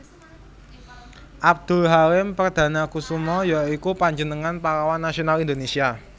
Abdul Halim Perdanakusuma ya iku panjenengané pahlawan nasional Indonésia